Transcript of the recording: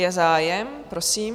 Je zájem, prosím.